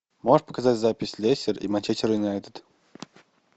можешь показать запись лестер и манчестер юнайтед